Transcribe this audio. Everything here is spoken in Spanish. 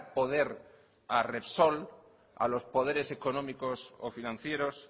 poder a repsol a los poderes económicos o financieros